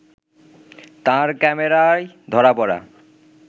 তাঁর ক্যামেরায় ধরা পড়া